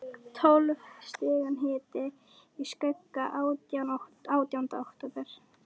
Tólf stiga hiti í skugga átjánda október.